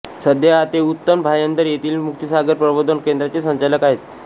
सध्या ते उत्तन भायंदर येथील मुक्तिसागर प्रबोधन केंद्राचे संचालक आहेत